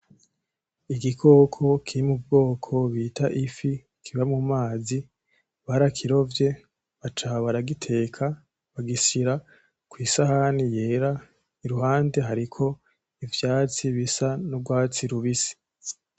Igikoko kiri mu bwoko bita ifi kiba mu mazi, barakirovye, baca baragiteka, bagishira kwi sahani yera iruhande hariko ivyatsi bisa n'urwatsi rubisi.